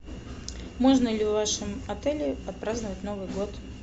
можно ли в вашем отеле отпраздновать новый год